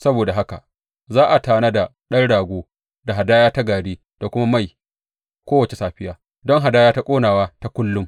Saboda haka za a tanada ɗan rago da hadaya ta gari da kuma mai kowace safiya don hadaya ta ƙonawa ta kullum.